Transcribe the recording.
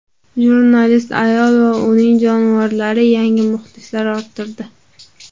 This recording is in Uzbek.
Jurnalist ayol va uning jonivorlari yangi muxlislar orttirdi.